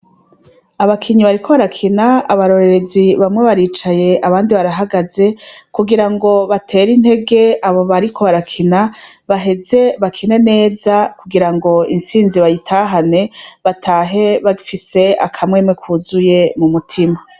Abakinyi bariko barakina, abarorerezi bamwe baricaye abandi barahagaze, kugira ngo batere intege abo bariko barakina, baheze bakine neza kugira ngo intsinzi bayitahane, batahe bafise akamwemwe kuzuye mu mutima.